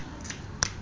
la lkb le khm ho